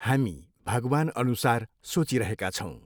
हामी भगवान्अनुसार सोचिरहेका छौँ।